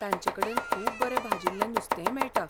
तांचेकडेन खूब बरें भाजिल्लें नुस्तेय मेळटा.